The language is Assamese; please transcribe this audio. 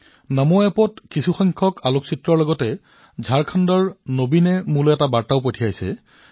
নমো এপত কিছুমান এনে ধৰণৰ ছবিৰ সৈতে ঝাৰখণ্ডৰ নবীনে মোলৈ এটা বাৰ্তা প্ৰেৰণ কৰিছে